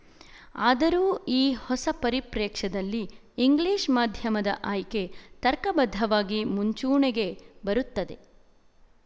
ಆದರೂ ಈ ಹೊಸ ಪರಿಪ್ರ್ಯೇಕ್ಷ್ಯದಲ್ಲಿ ಇಂಗ್ಲಿಶ ಮಾಧ್ಯಮದ ಆಯ್ಕೆ ತರ್ಕಬದ್ಧವಾಗಿ ಮುಂಚೂಣಿಗೆ ಬರುತ್ತದೆ